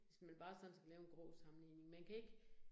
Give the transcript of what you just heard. Hvis man bare sådan skal lave en grå sammenligning, man kan ikke